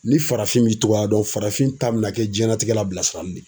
Ni farafin m'i togoya dɔn farafin ta bɛna kɛ jiyɛnnatigɛ la bilasirali de ye.